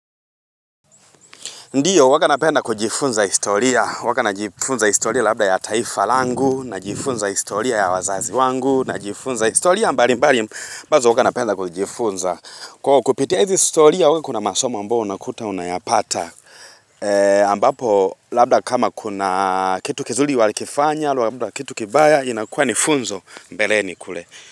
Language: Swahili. Ndiyo, huwaga napenda kujifunza historia, huwaga najifunza historia labda ya taifa langu, najifunza historia ya wazazi wangu, najifunza historia mbalimbali, ambazo huwaga napenda kujifunza. Kwa kupitia hizi historia, huwa kuna masoma ambayo unakuta unayapata. Ambapo, labda kama kuna kitu kizuli walikifanya, labda kitu kibaya, inakua ni funzo mbeleni kule.